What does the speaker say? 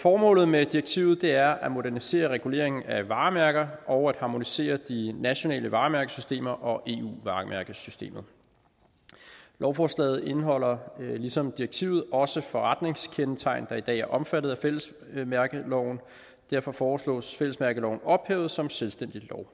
formålet med direktivet er at modernisere reguleringen af varemærker og at harmonisere de nationale varemærkesystemer og eu varemærkesystemer lovforslaget indeholder ligesom direktivet også forretningskendetegn der i dag er omfattet af fællesmærkeloven derfor foreslås fællesmærkeloven ophævet som selvstændig lov